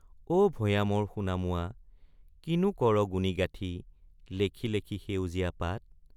অ ভয়ামৰ সোণামুৱা কিনো কৰ গুণি গাথি লেখি লেখি সেউজীয়া পাত।